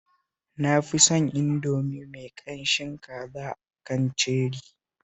Na fi son Indomie mai ƙamshin kaza a kan Cherry